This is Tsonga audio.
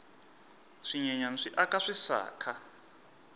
swinyenyani swi aka swisaka